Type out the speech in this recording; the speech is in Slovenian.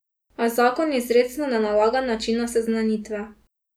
A zakon izrecno ne nalaga načina seznanitve.